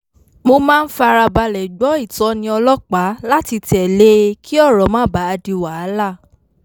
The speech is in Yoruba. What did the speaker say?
mo máa ń farabalẹ̀ gbọ́ ìtọ́ni ọlọ́pàá láti tẹ̀lé e kí ọ̀rọ̀ má bàa di wàhálà